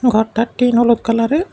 ঘরটার টিন হলুদ কালারের।